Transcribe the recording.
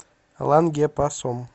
лангепасом